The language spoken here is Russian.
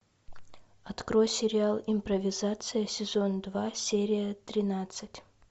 открой сериал импровизация сезон два серия тринадцать